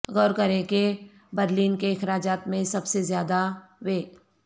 غور کریں کہ برلن کے اخراجات میں سب سے زیادہ وے